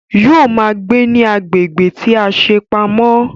Yóò ma gbé ní agbègbè tí a ṣe pamọ́